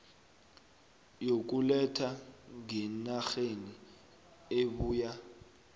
yokuletha ngenarheni ebuya